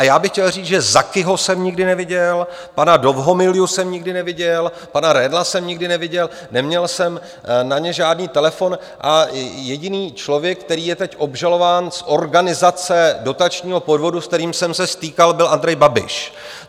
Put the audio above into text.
A já bych chtěl říct, že Zakiho jsem nikdy neviděl, pana Dovhomilju jsem nikdy neviděl, pana Redla jsem nikdy neviděl, neměl jsem na ně žádný telefon, a jediný člověk, který je teď obžalován z organizace dotačního podvodu, s kterým jsem se stýkal, byl Andrej Babiš.